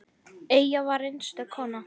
Eyja var einstök kona.